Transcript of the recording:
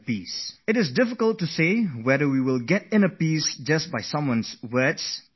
It is difficult to bring that inner peace within you just by someone merely asking you to do so, but one should try